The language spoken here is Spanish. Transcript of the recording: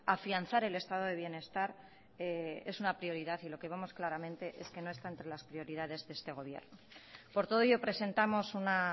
afianzar el estado de bienestar es una prioridad y lo que vemos claramente es que no están entre las prioridades de este gobierno por todo ello presentamos una